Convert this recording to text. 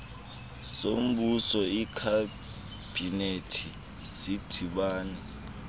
sombuso ikhabhinethi sidibana